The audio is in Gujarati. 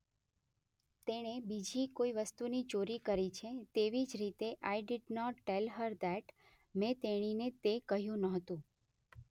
તેણે બીજી કોઇ વસ્તુની ચોરી કરી છે. તેવી જ રીતે I did not tell her that. મેં તેણીનીને તે કહ્યું નહોતું.